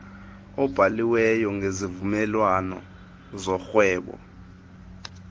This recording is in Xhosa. obhaliweyo ngezivumelwano zorhwebo